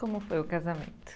Como foi o casamento?